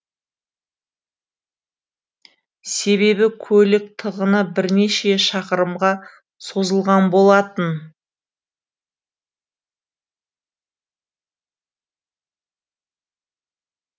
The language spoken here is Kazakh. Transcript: себебі көлік тығыны бірнеше шақырымға созылған болатын